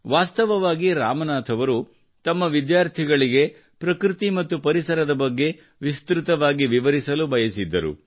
ವಾಸ್ತವವಾಗಿ ರಾಮನಾಥ್ ಅವರು ತಮ್ಮ ವಿದ್ಯಾರ್ಥಿಗಳಿಗೆ ಪ್ರಕೃತಿ ಮತ್ತು ಪರಿಸರದ ಬಗ್ಗೆ ವಿಸ್ತ್ರತವಾಗಿ ವಿವರಿಸಲು ಬಯಸಿದ್ದರು